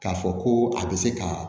K'a fɔ ko a bɛ se ka